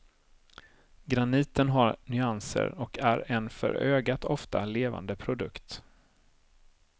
Graniten har nyanser och är en för ögat ofta levande produkt.